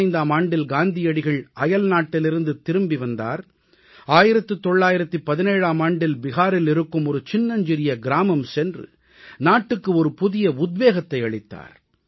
1915ஆம் ஆண்டில் காந்தியடிகள் அயல்நாட்டிலிருந்து திரும்பி வந்தார் 1917ஆம் ஆண்டில் பீகாரில் இருக்கும் ஒரு சின்னஞ்சிறிய கிராமம் சென்று நாட்டுக்கு ஒரு புதிய உத்வேகத்தை அளித்தார்